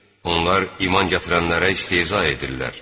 Onlar iman gətirənlərə istehza edirlər.